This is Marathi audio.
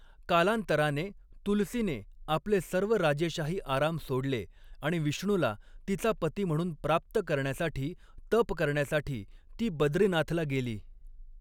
कालांतराने, तुलसीने आपले सर्व राजेशाही आराम सोडले आणि विष्णूला तिचा पती म्हणून प्राप्त करण्यासाठी तप करण्यासाठी ती बद्रीनाथला गेली.